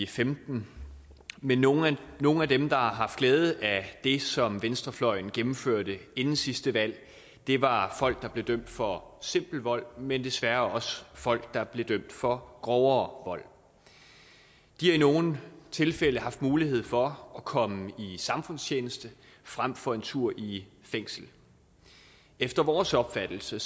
femten men nogle nogle af dem der har haft glæde af det som venstrefløjen gennemførte inden sidste valg var folk der blev dømt for simpel vold men desværre også folk der blev dømt for grovere vold de har i nogle tilfælde haft mulighed for at komme i samfundstjeneste frem for en tur i fængsel efter vores opfattelse